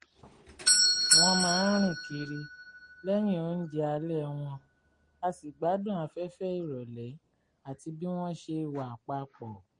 wọ́n máa ń rìn kiri lẹ́yìn óúnjẹ alẹ́ wọ́n á sì gbádùn afẹ́fẹ́ ìrọ̀lẹ́ àti bí wọ́n ṣe wà papọ̀